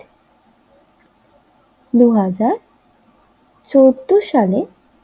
দুই হাজার চোদ্দ সালে